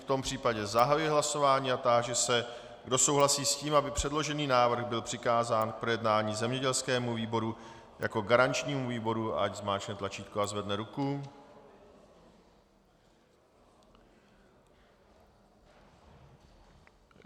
V tom případě zahajuji hlasování a táži se, kdo souhlasí s tím, aby předložený návrh byl přikázán k projednání zemědělskému výboru jako garančnímu výboru, ať zmáčkne tlačítko a zvedne ruku.